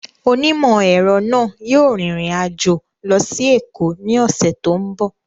Onímọ̀-ẹ̀rọ náà yóò rin ìrìn àjò lọ sí Èkó ní ọ̀sẹ̀ tó ń bọ̀